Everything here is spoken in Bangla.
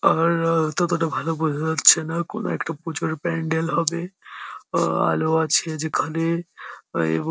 আর আ ততটা ভালো বোঝা যাচ্ছে না কোনো একটা পুজোর প্যান্ডেল হবে আলো আছে যেখানে এবং --